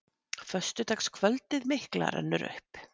Föstudagskvöldið mikla rennur upp.